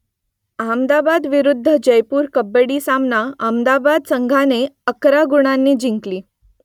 अहमदाबाद विरुद्ध जयपूर कबड्डी सामना अहमदाबाद संघाने अकरा गुणांनी जिंकला